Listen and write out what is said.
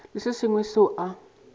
le se sengwe seo a